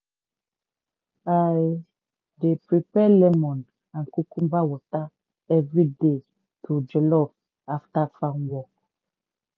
i dey prepare lemon and cucumber water everyday to jollof after farm work.